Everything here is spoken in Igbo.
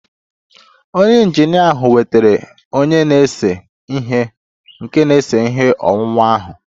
Onye injinia ahụ wetara onye na-ese ihe nke na-ese ihe owuwu ahụ